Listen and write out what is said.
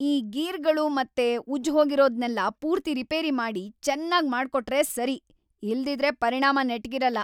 ಈ ಗೀರ್‌ಗಳು ಮತ್ತೆ ಉಜ್ಜ್‌ಹೋಗಿರೋದ್ನೆಲ್ಲ ಪೂರ್ತಿ ರಿಪೇರಿ ಮಾಡಿ ಚೆನ್ನಾಗ್ ಮಾಡ್ಕೊಟ್ರೇ ಸರಿ, ಇಲ್ದಿದ್ರೆ ಪರಿಣಾಮ ನೆಟ್ಗಿರಲ್ಲ!